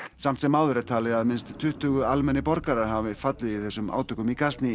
samt sem áður er talið að minnst tuttugu almennir borgarar hafi fallið í þessum átökum